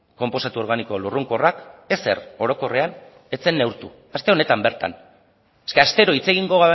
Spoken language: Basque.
konposatu organiko lurrunkorrak ezer orokorrean ez zen neurtu aste honetan bertan eske astero hitz egingo